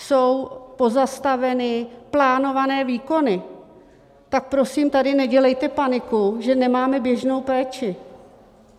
Jsou pozastaveny plánované výkony, tak prosím tady nedělejte paniku, že nemáme běžnou péči.